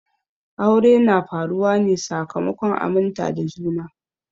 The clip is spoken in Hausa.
Aure na faruwa ne sakamakon aminta da juna.